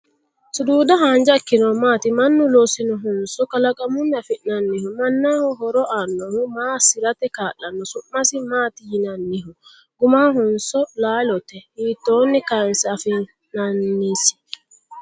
Suduuda haanja ikkinohu maati? Mannu loosinohonso kalaqammunni afi'nanniho? Mannaho horo aannoho? Ma assirate kaa'lanno? Su'masi maati yinanniho? Gumanhonso laalote? Hiittoonni kaanse afi'nannisi?